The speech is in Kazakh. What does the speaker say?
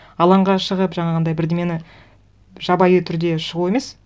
алаңға шығып жаңағындай бірдеңені жабайы түрде шығу емес